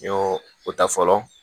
N y'o o ta fɔlɔ